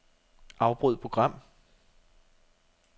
Afbryd program.